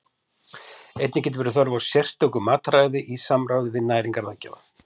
Einnig getur verið þörf á sérstöku mataræði í samráði við næringarráðgjafa.